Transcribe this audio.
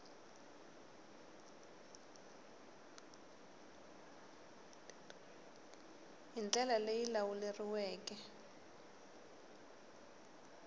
hi ndlela leyi yi lawuleriweke